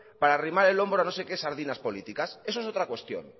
para arrimar el hombro a no sé qué sardinas políticas eso es otra cuestión